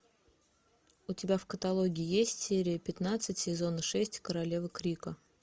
у тебя в каталоге есть серия пятнадцать сезона шесть королева крика